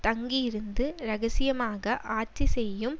தங்கி இருந்து இரகசியமாக ஆட்சி செய்யும்